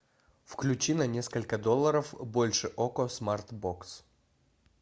включи на несколько долларов больше окко смарт бокс